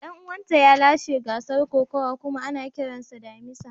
Dan uwanta ya lashe gasar kokawa kuma ana kiransa damisa.